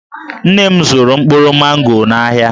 Nne m zụrụ mkpụrụ mango n'ahịa.